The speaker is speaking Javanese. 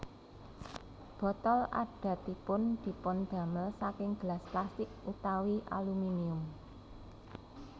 Botol adatipun dipundamel saking gelas plastik utawi aluminium